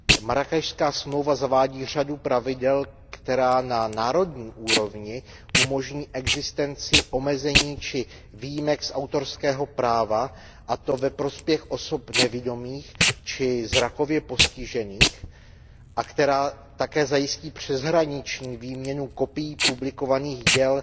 Marrákešská smlouva zavádí řadu pravidel, která na národní úrovni umožní existenci omezení či výjimek z autorského práva, a to ve prospěch osob nevidomých či zrakově postižených, a která také zajistí přeshraniční výměnu kopií publikovaných děl